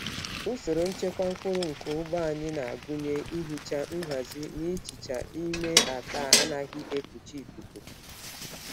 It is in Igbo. Usoro nchekwa mkpụrụ nke ugbo anyị na-agụnye ihicha, nhazi na ịchichi n'ime akpa anaghị ekpuchi ikuku.